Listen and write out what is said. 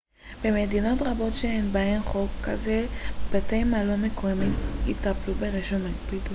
במדינות רבות שיש בהן חוק כזה בתי מלון מקומיים יטפלו ברישום הקפידו לבקש